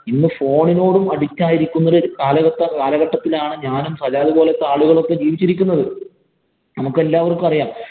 ഇന്ന് phone ഇനോടും addict ആയിരിക്കുന്ന ഒരു കാലഘട്ട കാലഘട്ടത്തിലാണ് ഞാനും, സജാദ് പോലത്തെ ആളുകളും ഒക്കെ ജീവിച്ചിരിക്കുന്നത്. നമുക്കെല്ലാവര്‍ക്കും അറിയാം